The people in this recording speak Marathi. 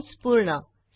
कंस पूर्ण